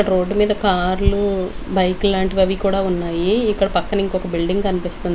road మీద కార్లు బైకులాంటివి అవి కూడా ఉన్నాయీ ఇక్కడ పక్కన ఇంకొక బిల్డింగ్ కన్పిస్తుం--